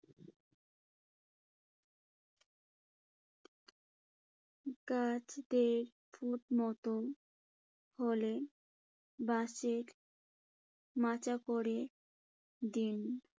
গাছ বেয়ে ফুট মতো হলে বাঁশের মাচা করে দিন।